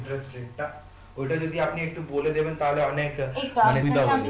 interest rate টা, ঔটা যদি আপনি একটু বলে দেবেন তাহলে অনেক